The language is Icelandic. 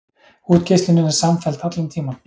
Útgeislunin er samfelld allan tímann.